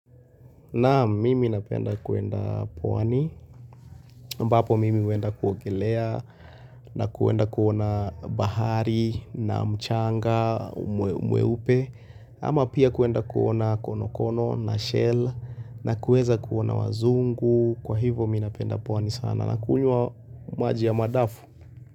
Naam mimi napenda kuenda pwani ambapo mimi huenda kuogelea na kuenda kuona bahari na mchanga mweupe ama pia kuenda kuona konokono na shell na kuweza kuona wazungu kwa hivo mimi napenda pwani sana na kunywa maji ya madafu.